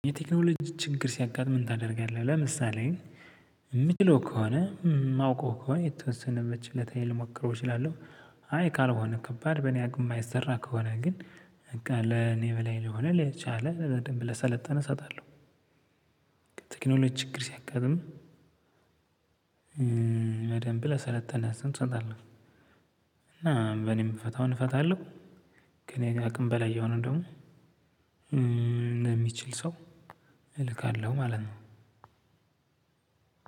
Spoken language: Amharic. የቴክኖሎጂ ችግር ሲያጋጥምህ ምን ታደርጋለህ? ለምሳሌ የምችለው ከሆነ የማውቀው ከሆነ የተወሰነበት በችሎታዬ ልሞክረው እችላለሁ። የቴክኖሎጂ ችግር ሲያጋጥምህ ምን ታደርጋለህ? ለምሳሌ የምችለው ከሆነ የማውቀው ከሆነ የተወሰነበት በችሎታዬ ልሞክረው እችላለሁ። በደንብ ለሰለጠነ ሰው እሰጣለሁ። እና እኔ የምፈታውን እፈታለው። ከኔ አቅም በላይ የሆነውን ደግሞ። ለሚችል ሰው እልካለው ማለት ነው።